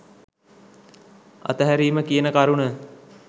අතහැරීම කියන කරුණ.